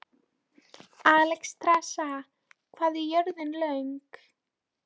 Alexstrasa, hvað er jörðin stór?